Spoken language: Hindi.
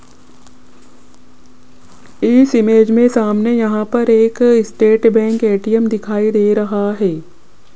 इस इमेज में सामने यहां पर एक स्टेट बैंक ए_टी_एम दिखाई दे रहा है।